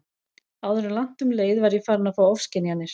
Áður en langt um leið var ég farin að fá ofskynjanir.